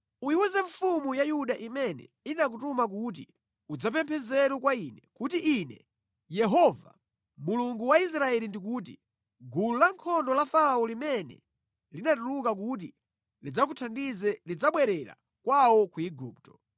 “Uyiwuze mfumu ya Yuda imene inakutuma kuti udzapemphe nzeru kwa ine kuti Ine Yehova, Mulungu wa Israeli ndikuti, gulu lankhondo la Farao limene linatuluka kuti lidzakuthandize lidzabwerera kwawo ku Igupto.